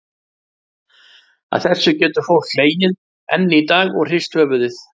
Að þessu getur fólkið hlegið enn í dag og hrist höfuðið.